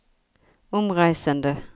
omreisende